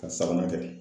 Ka sabanan kɛ